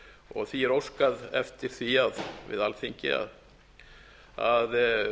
og því er óskað eftir því við alþingi að